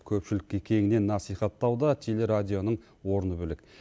көпшілікке кеңінен насихаттауда телерадионың орны бөлек